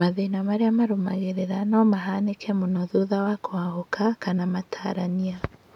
Matĩna marĩa marũmagĩrĩra no mahanĩke mũno thutha wa kũhahũka kana matarania